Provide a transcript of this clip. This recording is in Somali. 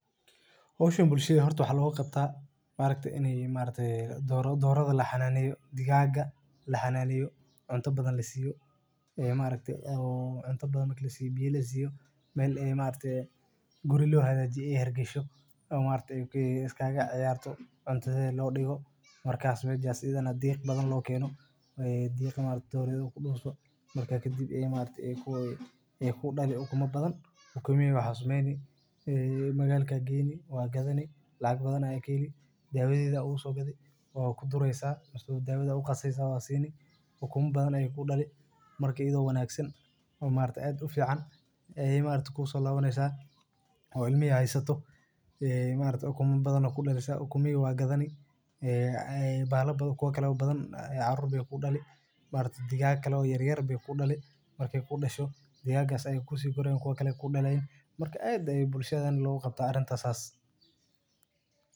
Waxaan iibiyaa ukun tayo leh oo la isku diyaariyey si aan ugu bixiyo macaamiisha qiimo la mid ah oo jaban, ukuntaydu waa kuwo la dhoofiyo maalintii oo la shafay si ay uga baxaan qashin iyo waxyaabaha kale ee aan loo baahnayn, waxaan ku iibiyaa suuqa iyo meelaha kala duwan ee magaalada, ukunka aad iibsatana wuxuu ka yimid xoolaha aan dhaqdo oo si fiican loo daawaco oo cunto macaan laga sameeyo, waxaan siinayaa qiimo jaban oo ka yar suuqa si aan u helo macaamiil badan oo ukuntayda iibsada, waxaan sidoo kale bixiyaa iibka ukunta qadka ah ee lagu iibiyo qof walba.